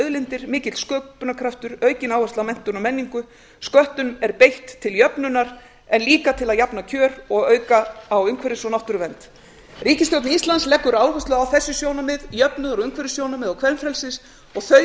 auðlindir mikill sköpunarkraftur aukin áhersla á menntun og menningu sköttum er beitt til jöfnunar en líka til að jafna kjör og auka á umhverfis og náttúruvernd ríkisstjórn íslands leggur áherslu á að þessi sjónarmið jöfnuður og umhverfissjónarmið og kvenfrelsis og þau